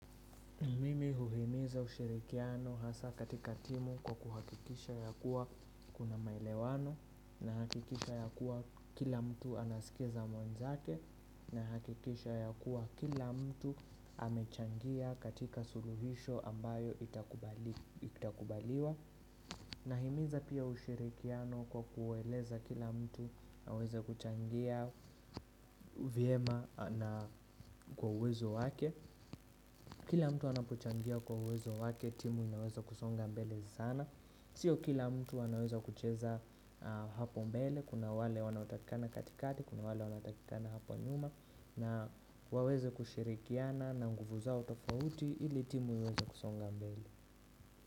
Mimi huhimiza ushirikiano hasa katika timu kwa kuhakikisha ya kuwa kuna maelewano nahakikisha ya kuwa kila mtu anasikiza mwenzake nahakikisha ya kuwa kila mtu amechangia katika suluhisho ambayo itakubaliwa Nahimiza pia ushirikiano kwa kueleza kila mtu aweze kuchangia vyema na kwa uwezo wake Kila mtu anapochangia kwa uwezo wake timu inaweza kusonga mbele sana Sio kila mtu anaweza kucheza hapo mbele Kuna wale wanaotakikana katikati, kuna wale wanatakikana hapo nyuma na waweze kushirikiana na nguvu zao tofauti ili timu iweze kusonga mbele.